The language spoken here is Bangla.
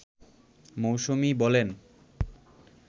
মৌসুমী বলেন